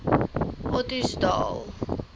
ottosdal